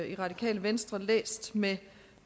i radikale venstre læst med